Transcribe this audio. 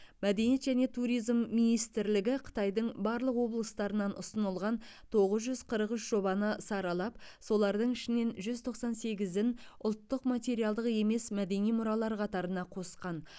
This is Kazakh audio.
мәдениет және туризм министрлігі қытайдың барлық облыстарынан ұсынылған тоғыз жүз қырық үш жобаны саралап солардың ішінен жүз тоқсан сегізін ұлттық материалдық емес мәдени мұралар қатарына қосқан